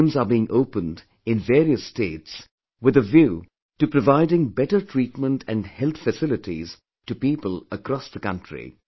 New AIIMS are being opened in various states with a view to providing better treatment and health facilities to people across the country